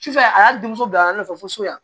Sufɛ a y'a di muso bila a nɔfɛ fo so yan